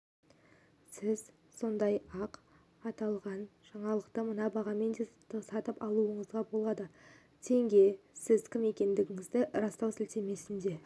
сіз сондай-ақ аталған жаңалықты мына бағамен де сатып алуыңызға болады тенге сіз кім екендігіңізді растау сілтемесіне